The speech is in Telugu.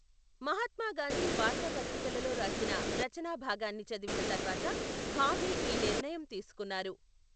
మహాత్మా గాంధీ వార్తాపత్రికలో రాసిన రచనా భాగాన్ని చదివిన తర్వాత భావే ఈ నిర్ణయం తీసుకున్నారు.